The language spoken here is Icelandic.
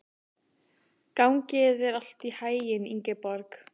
Gangi þér allt í haginn, Ingeborg.